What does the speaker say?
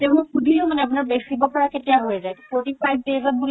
তাতে মই সুধিলো মানে আপুনাৰ খেতি পথাৰ কেতিয়া হয় যাই forty-five days ত বুলে